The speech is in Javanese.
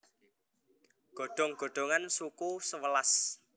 godhong godhongan suku sewelas